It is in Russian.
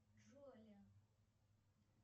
джоли